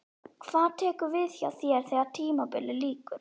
Hvað tekur við hjá þér þegar tímabilið lýkur?